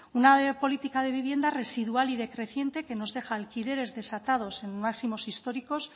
una política de vivienda residual y decreciente que nos deja alquileres desatados en máximos históricos